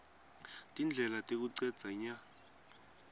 tindlela tekucedza nya